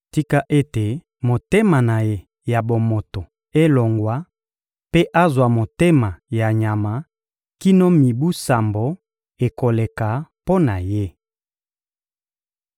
Tika ete motema na ye ya bomoto elongwa mpe azwa motema ya nyama kino mibu sambo ekoleka mpo na ye.